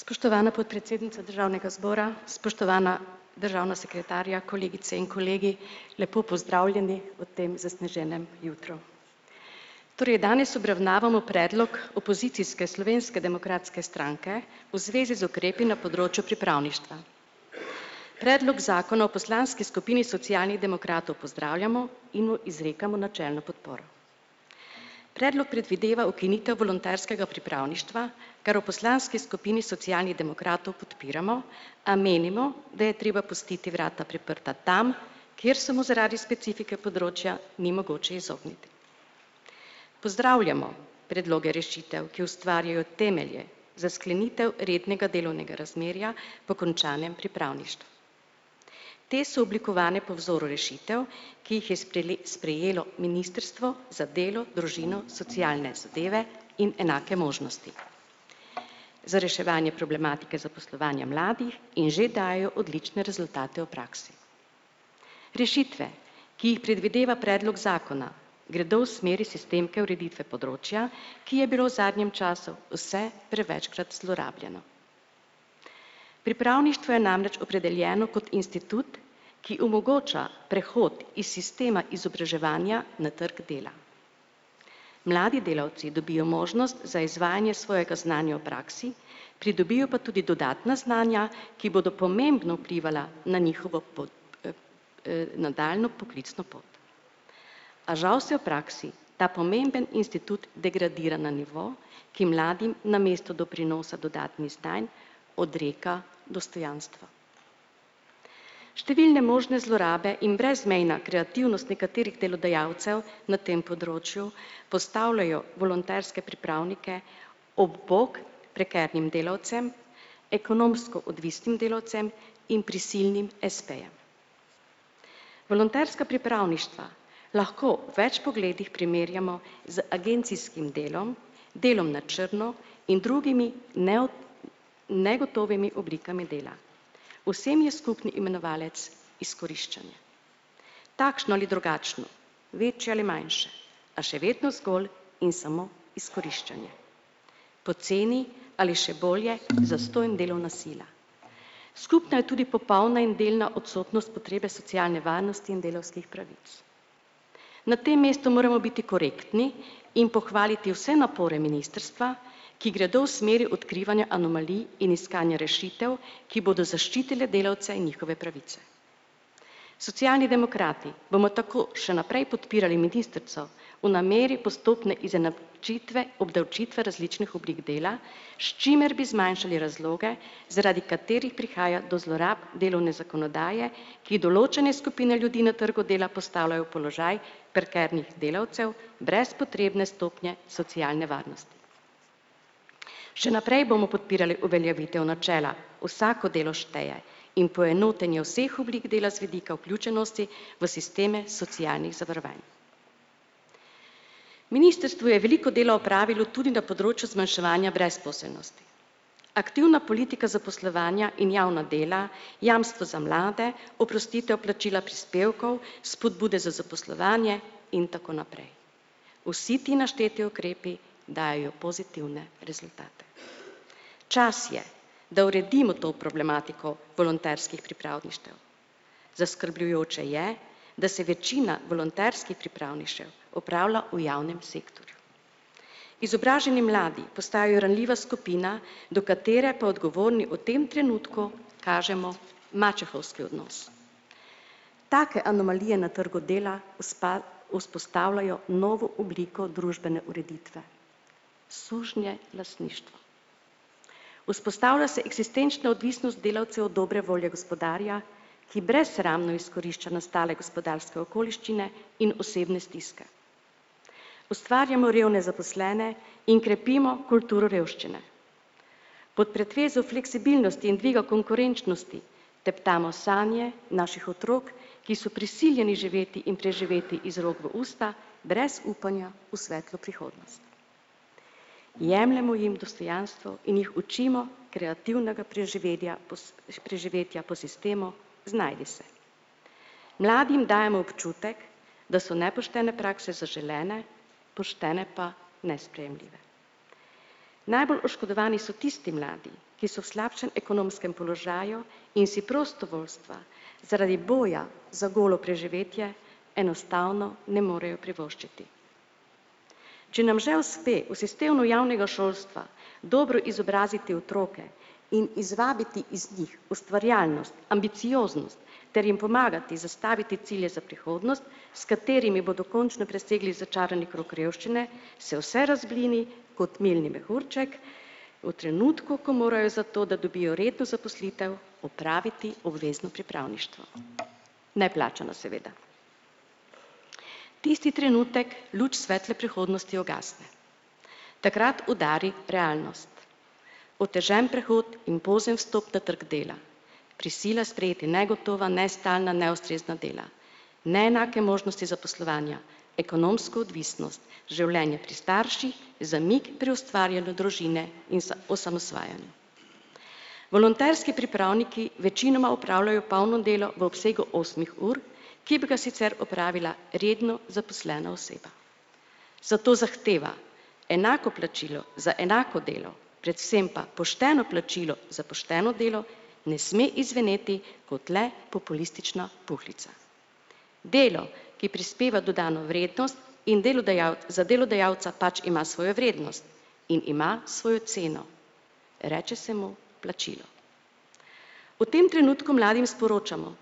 Spoštovana podpredsednica državnega zbora, spoštovana državna sekretarja, kolegice in kolegi, lepo pozdravljeni v tem zasneženem jutru. Torej danes obravnavamo predlog opozicijske Slovenske demokratske stranke v zvezi z ukrepi na področju pripravništva. Predlog zakona v poslanski skupini Socialnih demokratov pozdravljamo in mu izrekamo načelno podporo. Predlog predvideva ukinitev volonterskega pripravništva kar v poslanski skupini Socialnih demokratov podpiramo, a menimo, da je treba pustiti vrata priprta tam, kjer so mu zaradi specifike področja ni mogoče izogniti. Pozdravljamo predloge rešitev, ki ustvarjajo temelje za sklenitev rednega delovnega razmerja po končanem pripravništvu. Te so oblikovane po vzoru rešitev, ki jih je sprejelo ministrstvo za delo, družino, socialne zadeve in enake možnosti za reševanje problematike zaposlovanja mladih in že dajejo odlične rezultate v praksi. Rešitve, ki jih predvideva predlog zakona, gredo v smeri sistemske ureditve področja, ki je bilo v zadnjem času vse prevečkrat zlorabljeno. Pripravništvo je namreč opredeljeno kot institut, ki omogoča prehod iz sistema izobraževanja na trgu dela. Mladi delavci dobijo možnost za izvajanje svojega znanja v praksi, pridobijo pa tudi dodatna znanja, ki bodo pomembno vplivala na njihovo nadaljnjo poklicno pot. A žal se v praksi ta pomemben institut degradira na nivo, ki mladim namesto doprinosa dodatnih stanj odreka dostojanstvo. Številne možne zlorabe in brezmejna kreativnost nekaterih delodajalcev na tem področju postavljajo volonterske pripravnike ob bok prekarnim delavcem, ekonomsko odvisnim delavcem in prisilnim espejem. Volonterska pripravništva lahko v več pogledih primerjamo z agencijskim delom delom na črno in drugimi negotovimi oblikami dela. Vsem je skupni imenovalec izkoriščanje. Takšno ali drugačno, večje ali manjše, a še vedno zgolj in samo izkoriščanje. Poceni, ali še bolje, zastonj delovna sila. Skupna je tudi popolna in delna odsotnost potrebe socialne varnosti in delavskih pravic. Na tem mestu moramo biti korektni in pohvaliti vse napore ministrstva, ki gredo v smeri odkrivanja anomalij in iskanja rešitev, ki bodo zaščitile delavce in njihove pravice. Socialni demokrati bomo tako še naprej podpirali ministrico v nameri postope izena čitve, obdavčitve različnih oblik dela, s čimer bi zmanjšali razloge, zaradi katerih prihaja do zlorab delovne zakonodaje, ki določene skupine ljudi na trgu dela postavljajo v položaj prekarnih delavcev brez potrebne stopnje socialne varnosti. Še naprej bomo podpirali uveljavitev načela "vsako delo šteje" in poenotenje vseh oblik dela z vidika vključenosti v sisteme socialnih zavarovanj. Ministrstvo je veliko dela opravilo tudi na področju zmanjševanja brezposelnosti. Aktivna politika zaposlovanja in javna dela, jamstvo za mlade, oprostitev plačila prispevkov, spodbude za zaposlovanje in tako naprej. Vsi ti našteti ukrepi dajejo pozitivne rezultate. Čas je, da uredimo to problematiko volonterskih pripravništev. Zaskrbljujoče je, da se večina volonterskih pripravništev opravlja v javnem sektorju. Izobraženi mladi postajajo ranljiva skupina, do katere pa odgovorni v tem trenutku kažemo mačehovski odnos. Take anomalije na trgu dela vzpostavljajo novo obliko družbene ureditve. Sužnjelastništvo. Vzpostavlja se eksistenčna odvisnost delavcev od dobre volje gospodarja, ki brezsramno izkorišča nastale gospodarske okoliščine in osebne stiske. Ustvarjamo revne zaposlene in krepimo kulturo revščine. Pod pretvezo fleksibilnosti in dviga konkurenčnosti teptamo sanje naših otrok, ki so prisiljeni živeti in preživeti iz rok v usta brez upanja v svetlo prihodnost. Jemljemo jim dostojanstvo in jih učimo kreativnega preživedja preživetja po sistemu "znajdi se". Mladim dajemo občutek, da so nepoštene prakse zaželene, poštene pa nesprejemljive. Najbolj oškodovani so tisti mladi, ki so v slabšem ekonomskem položaju in si prostovoljstva zaradi boja za golo preživetje enostavno ne morejo privoščiti. Če nam že uspe v sistemu javnega šolstva dobro izobraziti otroke in izvabiti iz njih ustvarjalnost, ambicioznost ter jim pomagati zastaviti cilje za prihodnost, s katerimi bodo končno začarani krog revščine, se vse razblini kot milni mehurček v trenutku, ko morajo za to, da dobijo redno zaposlitev, opraviti obvezno pripravništvo. Neplačano seveda. Tisti trenutek luč svetle prihodnosti ugasne, takrat udari realnost. Otežen prehod in pozen vstop na trg dela, prisila sprejeti negotova, nestalna, neustrezna dela, neenake možnosti zaposlovanja, ekonomska odvisnost, življenje pri starših, zamik pri ustvarjanju družine in za osamosvajanje. Volonterski pripravniki večinoma opravljajo polno delo v obsegu osmih ur, ki bi ga sicer opravila redno zaposlena oseba. Zato zahteva enako plačilo za enako delo, predvsem pa pošteno plačilo za pošteno delo ne sme izzveneti kot le populistična puhlica. Delo, ki prispeva dodano vrednost in za delodajalca pač ima svojo vrednost in ima svojo ceno, reče se mu plačilo. V tem trenutku mladim sporočamo: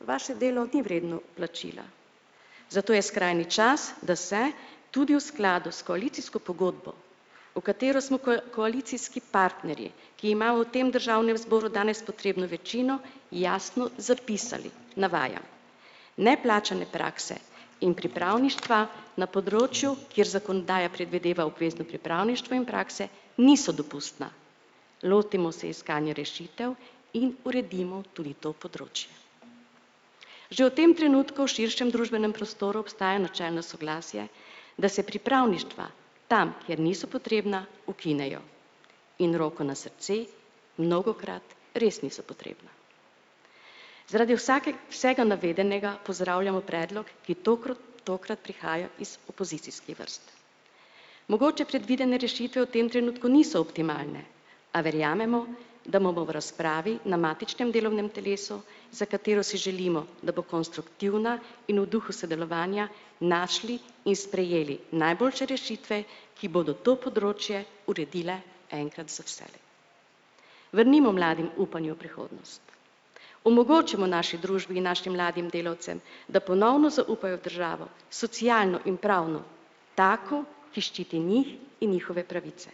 "Vaše delo ni vredno plačila." Zato je skrajni čas, da se tudi v skladu s koalicijsko pogodbo, v katero smo koalicijski partnerji, ki imajo v tem državnem zboru danes potrebno večino, jasno zapisali, navajam. "Neplačane prakse in pripravništva na področju, kjer zakonodaja predvideva obvezno pripravništvo in prakse, niso dopustna." Lotimo se iskanja rešitev in uredimo tudi to področje. Že v tem trenutku širšem družbenem prostoru obstaja načelno soglasje, da se pripravništva tam, kjer niso potrebna, ukinejo. In roko na srce, mnogokrat res niso potrebna. Zaradi vsega navedenega pozdravljamo predlog, ki tokrat prihaja iz opozicijskih vrst. Mogoče predvidene rešitve v tem trenutku niso optimalne, a verjamemo, da bomo v razpravi na matičnem delovnem telesu, za katero si želimo, da bo konstruktivna in v duhu sodelovanja, našli in sprejeli najboljše rešitve, ki bodo to področje uredile enkrat za vselej. Vrnimo mladim upanje v prihodnost. Omogočimo naši družbi in našim mladim delavcem, da ponovno zaupajo v državo, socialno in pravno, tako, ki ščiti njih in njihove pravice.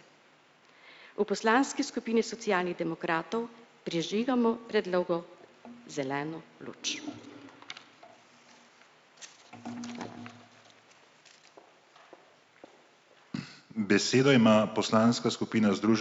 V poslanski skupini Socialnih demokratov prižigamo predlogu zeleno luč. Hvala.